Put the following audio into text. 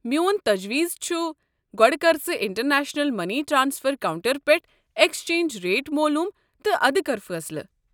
میون تجویز چھُ گۄڑٕ كر ژٕ انٹرنیشنل مٔنی ٹرٛانسفر کونٛٹر پٮ۪ٹھہٕ ایكسچینج ریٹ معلوٗم تہٕ ادٕ کر فٲصلہٕ۔